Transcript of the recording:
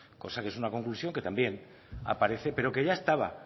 cosa que es una conclusión que también aparece pero que ya estaba